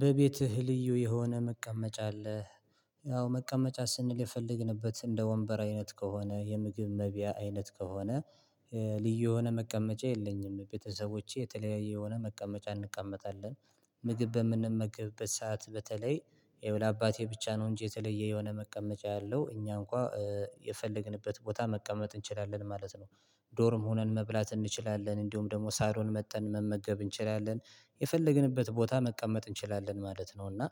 በቤትህ ልዩ የሆነ መቀመጫ አለህ? ያው መቀመጫ ስንል የፈለግንበት እንደ ወንበር አይነት ከሆነ የምግብ መብያ አይነት ከሆነ ልዩ የሆነ መቀመጫ የለኝም ቤተሰቦቼ የተለያየ የሆነ መቀመጫ እንቀመጣለን። ምግብ በምንመግብበት ሰዓት በተለይ ይኸው ለአባቴ ብቻ ነው እንጂ የተለየ የሆነ መቀመጫ ያለው እኛ እንኳን የፈለግንበት ቦታ መቀመጥ እንችላለን ማለት ነው። ዶርም ሆነን መብላት እንችላለን እንዲሁም ደግሞ ሳሎን መጥተን መመገብ እንችላለን የፈለግንበት ቦታ መቀመጥ እንችላለን ማለት ነው። እና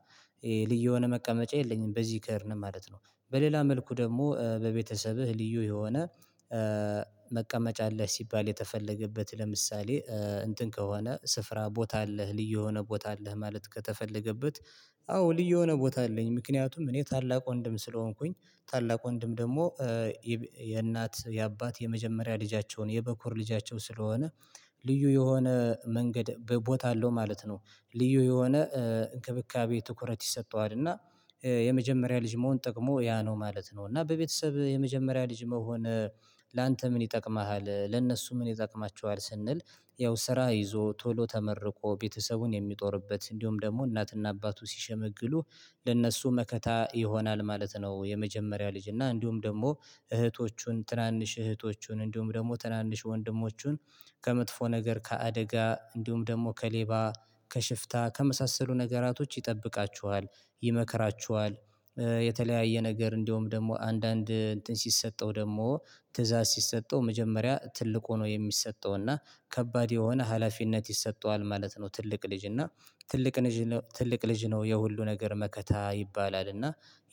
ልዩ የሆነ መቀመጫ የለኝም። በዚህ ከሄድን ነማለት ነው በሌላ መልኩ ደግሞ በቤተሰብህ ልዩ የሆነ መቀመጫ አለህ ሲባል የተፈለገበት ለምሳሌ እንትን ከሆነ ስፍራ ቦታ አለህ ልዩ የሆነ ቦታ አለህ ማለት ከተፈለገበት አዎ ልዩ የሆነ ቦታ አለኝ። ምክንያቱም እኔ ታላቅ ወንድም ስለሆንኩኝ ታላቅ ወንድም ደግሞ የእናት የአባት የመጀመሪያ ልጃቸውን የበኩር ልጃቸው ስለሆነ ልዩ የሆነ መንገድ ቦታ አለው ማለት ነው። ልዩ የሆነ እንክብካቤ ትኩረት ይሰጠዋልና የመጀመሪያ ልጅ መሆን ጥቅሞ ያ ነው ማለት ነው። እና በቤተሰብ የመጀመሪያ ልጅ መሆን ላንተ ምን ይጠቅማሃል ለእነሱ ምን ይጠቅማችዋል ስንል ያው ስራ ይዞ ቶሎ ተመርቆ ቤተሰቡን የሚጦርበት እንዲሁም ደግሞ እናትና አባቱ ሲሸመግሉ ለእነሱ መከታ ይሆናል ማለት ነው። የመጀመሪያ ልጅ እና እንዲሁም ደግሞ እህቶቹን ትናንሽ እህቶቹን እንዲሁም ደግሞ ትናንሽ ወንድሞቹን ከመጥፎ ነገር ከአደጋ እንዲሁም ደግሞ ከሌባ ከሽፍታ ከመሳሰሉ ነገራቶች ይጠብቃቸዋል ይመከራቸዋል። የተለያየ ነገር እንደውም ደግሞ አንዳንድ እንትን ሲሰጠው ደግሞ ትእዛዝ ሲሰጠው መጀመሪያ ትልቅ ሆኖ የሚሰጠው እና ከባድ የሆነ ሀላፊነት ይሰጠዋል ማለት ነው። ትልቅ ልጅ እና ትልቅ ትልቅ ልጅ ነው የሁሉ ነገር መከታ ይባላል። እና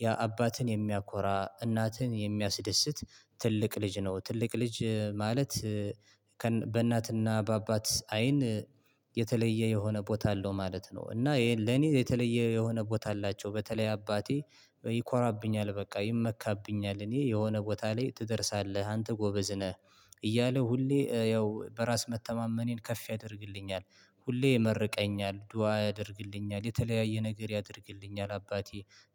ያ አባትን የሚያኮራ እናትን የሚያስደስት ትልቅ ልጅ ነው ትልቅ ልጅ ማለት። በእናትና በአባት አይን የተለየ የሆነ ቦታ አለው ማለት ነው። እና ለኔ የተለየ የሆነ ቦታ አላቸው በተለይ አባቴ ይኮራብኛል በቃ ይመካብኛል እኔ የሆነ ቦታ ላይ ትደርሳለህ አንተ ጎበዝ ነህ እያለ ሁሌ ያው በራስ መተማመኔን ከፍ ያደርግልኛል። ሁሌ ይመርቀኛል ዱአ ያደርግልኛል የተለያየ ነገር ያደርግልኛል አባቴ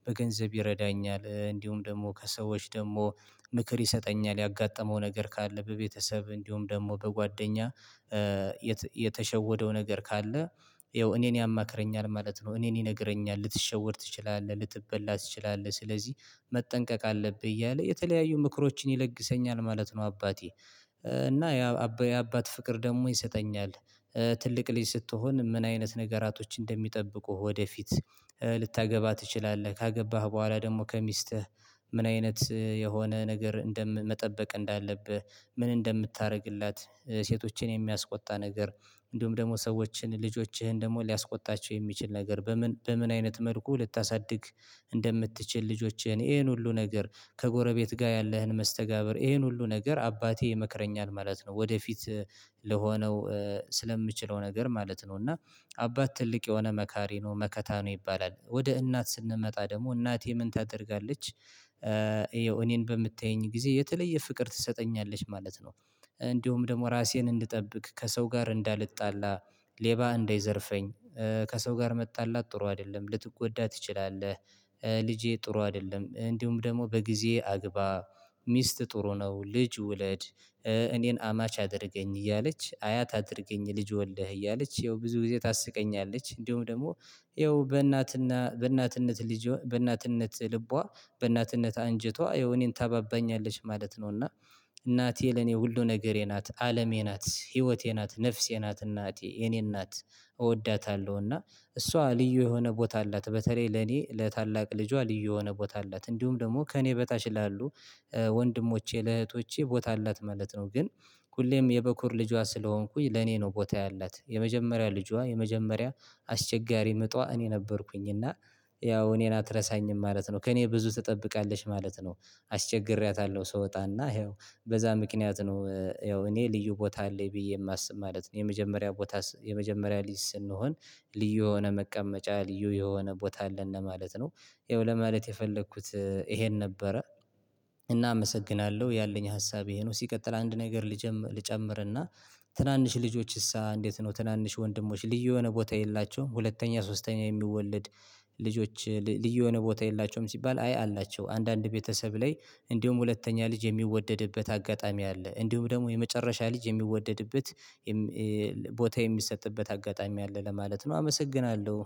በገንዘብ ይረዳኛል እንዲሁም ደግሞ ከሰዎች ደግሞ ምክር ይሰጠኛል ያጋጠመው ነገር ካለ በቤተሰብ እንዲሁም ደግሞ በጓደኛ የተሸወደው ነገር ካለ ያው እኔን ያማክረኛል ማለት ነው። እኔን ይነግረኛል ልትሸወድ ትችላለህ ልትበላ ትችላለህ ስለዚህ መጠንቀቅ አለብህ እያለ የተለያዩ ምክሮችን ይለግሰኛል ማለት ነው። አባቴ እና የአባት ፍቅር ደግሞ ይሰጠኛል። ትልቅ ልጅ ስትሆን ምን አይነት ነገራቶች እንደሚጠብቁህ ወደፊት ልታገባህ ትችላለህ ካገባህ በኋላ ደግሞ ከሚስትህ ምን አይነት የሆነ ነገር እንደምን መጠበቅ እንዳለብህ ምን እንደምታደርግላት ሴቶችን የሚያስቆጣ ነገር እንዲሁም ደግሞ ሰዎችን ልጆችህን ደግሞ ሊያስቆጣቸው የሚችል ነገር በምን በምን አይነት መልኩ ልታሳድግ እንደምትችል ልጆችህን ይሄን ሁሉ ነገር ከጎረቤት ጋር ያለህን መስተጋብር ይሄን ሁሉ ነገር አባቴ ይመክረኛል ማለት ነው ወደፊት ለሆነው ስለምችለው ነገር ማለት ነው እና አባት ትልቅ የሆነ መካሪ ነው መከታ ነው ይባላል ወደ እናት ስንመጣ ደግሞ እናቴ ምን ታደርጋለች? እኔን በምታየኝ ጊዜ የተለየ ፍቅር ትሰጠኛለች ማለት ነው። እንዲሁም ደግሞ ራሴን እንድጠብቅ ከሰው ጋር እንዳልጣላ ሌባ እንዳይዘርፈኝ ከሰው ጋር መጣላት ጥሩ አይደለም ልትጎዳ ትችላለህ። ልጄ ጥሩ አይደለም እንዲሁም ደግሞ በጊዜ አግባ ሚስት ጥሩ ነው። ልጅ ውለድ እኔን አማች አድርገኝ እያለች አያት አድርገኝ ልጅ ወልደህ እያለች ያው ብዙ ጊዜ ታስቀኛለች እንዲሁም ደግሞ ይኸው በእናትና በእናትነት ልጅ በእናትነት ልቧ በእናትነት አንጀቷ የሆነ እኔን ታባባኛለች ማለት ነው። እና እናቴ ለኔ ሁሉ ነገሬ ናት አለሜ ናት ህይወቴ ናት ነፍሴ ናት እናቴ የኔ እናት እወዳታለሁ። እና እሷ ልዩ የሆነ ቦታ አላት በተለይ ለኔ ለታላቅ ልጇ ልዩ የሆነ ቦታ አላት እንዲሁም ደግሞ ከእኔ በታች ላሉ ወንድሞቼ ለእህቶቼ ቦታ አላት ማለት ነው። ግን ሁሌም የበኩር ልጇ ስለሆንኩኝ ለኔ ነው ቦታ ያላት የመጀመሪያ ልጇ የመጀመሪያ አስቸጋሪ ምጧ እኔ ነበርኩኝ እና ያው እኔን አትረሳኝም ማለት ነው። ከእኔ ብዙ ትጠብቃለች ማለት ነው አስቸግሬያታለሁ ስወጣና ይኸው በዛ ምክንያት ነው ያው እኔ ልዩ ቦታ አለኝ ብዬ የማስብ ማለት ነው። የመጀመሪያ ቦታ የመጀመሪያ ልጅ ስንሆን ልዩ የሆነ መቀመጫ ልዩ የሆነ ቦታ አለ ለማለት ነው። ይኸው ለማለት የፈለኩት ይሄን ነበረ እናመሰግናለሁ ያለኝ ሀሳብ ይሄ ነው። ሲቀጥል አንድ ነገር ልጨምርና ትናንሽ ልጆችስ እንዴት ነው? ትናንሽ ወንድሞች ልዩ የሆነ ቦታ የላቸውም ሁለተኛ ሶስተኛ የሚወለድ ልጆች ልዩ የሆነ ቦታ የላቸውም ሲባል አይ አላቸው አንዳንድ ቤተሰብ ላይ እንዲሁም ሁለተኛ ልጅ የሚወደድበት አጋጣሚ አለ እንዲሁም ደግሞ የመጨረሻ ልጅ የሚወደድበት ቦታ የሚሰጥበት አጋጣሚ አለ ለማለት ነው። አመሰግናለሁ